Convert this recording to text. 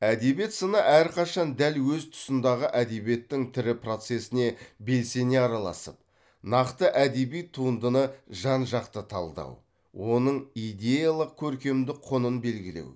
әдебиет сыны әрқашан дәл өз тұсындағы әдебиеттің тірі процесіне белсене араласып нақты әдеби туындыны жан жақты талдау оның идеялық көркемдік құнын белгілеу